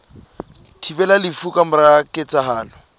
thibelang lefu ka mora ketsahalo